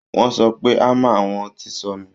wọ́n sọ pé hammer àwọn ti sọnù